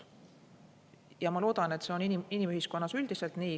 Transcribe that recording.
Ja ma loodan, et see on inimühiskonnas üldiselt nii.